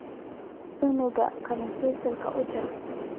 Cunuga qalin penselka ujar.